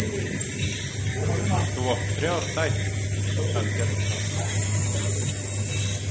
Þú átt þrjár dætur, sagði Bjarni þá.